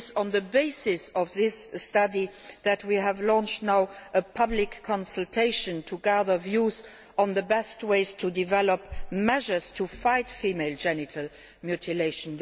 On the basis of that study we have launched a public consultation to gather views on the best ways to develop measures to fight female genital mutilation.